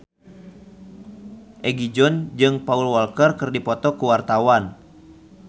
Egi John jeung Paul Walker keur dipoto ku wartawan